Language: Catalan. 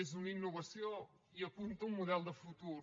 és una innovació i apunta un model de futur